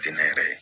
Jɛnɛ yɛrɛ